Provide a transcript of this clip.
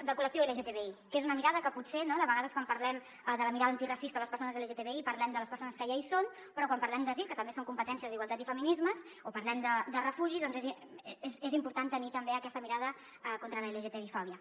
del col·lectiu lgtbi que és una mirada que potser de vegades quan parlem de la mirada antiracista i de les persones lgtbi parlem de les persones que ja hi són però quan parlem d’asil que també són competències d’igualtat i feminismes o parlem de refugi doncs és important tenir també aquesta mirada contra l’lgtbi fòbia